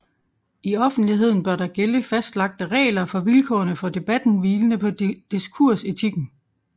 I offentligheden bør der gælde fastlagte regler for vilkårene for debatten hvilende på diskursetikken